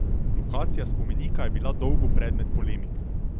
Lokacija spomenika je bila dolgo predmet polemik.